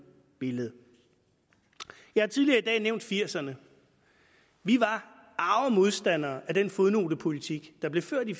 billede jeg har tidligere i dag nævnt nitten firserne vi var arge modstandere af den fodnotepolitik der blev ført i